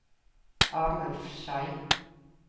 Arnulf Schei